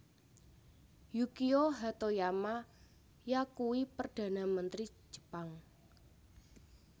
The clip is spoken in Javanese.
Yukio Hatoyama yakuwi Perdhana Mentri Jepang